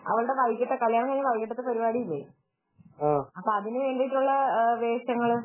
അവളുടെ കല്യാണം കഴിഞ്ഞു വൈകിട്ടത്തെ പരിപാടി ഇല്ലേ അപ്പൊ അതിനു വേണ്ടിയിട്ടുള്ള വേഷങ്ങള്